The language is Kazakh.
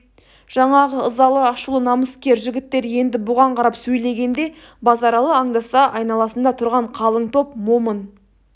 жаңағы ызалы ашулы намыскер жігіттер енді бұған қарап сөйлегенде базаралы аңдаса айналасында тұрған қалың топ момын